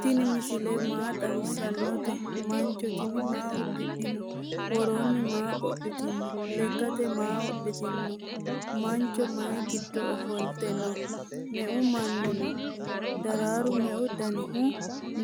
tini misile maa xawisanote? mancho tini maa udidhino? woroni maa qodhitino? leekate maa wodhitino? mancho mayi gido oofolte noo?me"eu manni noo? dararchu meu dannihu